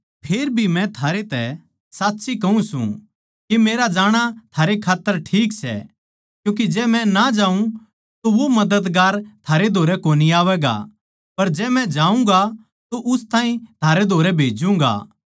फेरभी मै थारैतै साच्ची कहूँ सूं के मेरा जाणा थारै खात्तर ठीक सै क्यूँके जै मै ना जाऊँ तो वो मददगार थारै धोरै कोनी आवैगा पर जै मै जाऊँगा तो उस ताहीं थारै धोरै भेज्जूंगा